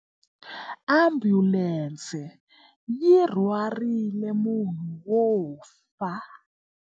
Ambulense yi rhwarile munhu wo fa.